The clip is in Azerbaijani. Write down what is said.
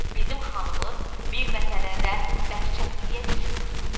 Bizim xanımız bir məsələdə bərk çətinliyə düşüb.